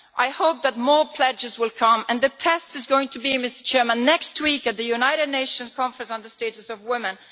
I hope that more pledges will come, and the test is going to be next week at the United Nations Conference on the status of women.